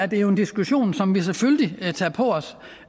det en diskussion som vi selvfølgelig tager på os